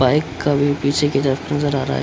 Bike का भी पीछे की तरफ नजर आ रहा है।